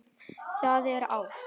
Það er ást.